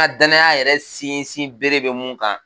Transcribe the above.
a danaya yɛrɛ sinsinbere bɛ mun kan.